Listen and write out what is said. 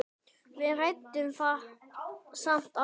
Við ræddum það samt aldrei.